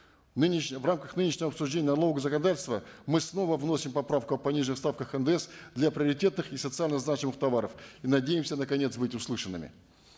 в рамках нынешнего обсуждения налогового законодательства мы снова вносим поправку о пониженных ставках ндс для приоритетных и социально значимых товаров и надеемся наконец быть услышанными